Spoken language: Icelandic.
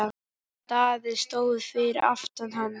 Daði stóð fyrir aftan hann.